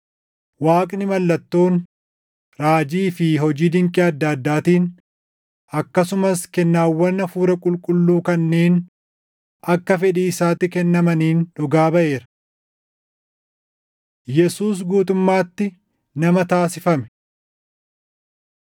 Waaqni mallattoon, raajii fi hojii dinqii adda addaatiin akkasumas kennaawwan Hafuura Qulqulluu kanneen akka fedhii isaatti kennamaniin dhugaa baʼeera. Yesuus Guutummaatti Nama Taasifame